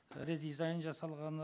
редизайн жасалғаны